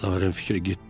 Laven fikrə getdi.